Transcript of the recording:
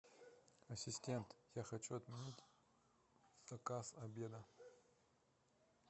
ассистент я хочу отменить заказ обеда